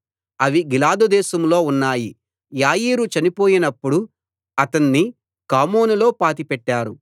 అవి గిలాదు దేశంలో ఉన్నాయి యాయీరు చనిపోయినప్పుడు అతణ్ణి కామోనులో పాతిపెట్టారు